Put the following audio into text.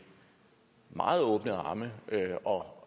meget åbne arme og